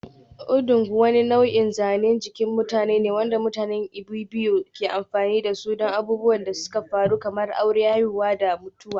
Odung wani nau'in zanen jikin mutum ne wanda mutanen Ibibio ke amfani da su don abubuwan da suka faru kamar aure, haihuwa da mutuwa.